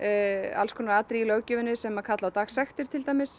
alls konar atriði í löggjöfinni sem kalla á dagsektir